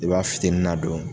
E b'a fitinin na don